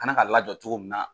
Ka kan k'a lajɔ cogo min na,